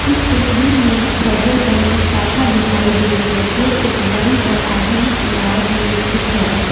इस तस्वीर में एक फेडरल बैंक की शाखा दिखाई दे रही है जो एक बड़ी और आधुनिक इमारत में स्थित है।